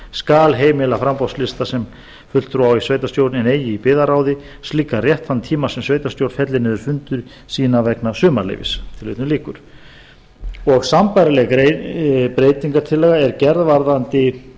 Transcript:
skal heimila framboðslista sem fulltrúa á í sveitarstjórn en eigi í byggðarráð slíkan rétt þann tíma sem sveitarstjórn fellir niður fundi sína vegna sumarleyfis sambærileg breytingartillaga er gerð varðandi